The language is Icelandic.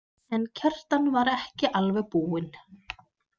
En Kjartan var ekki alveg búinn.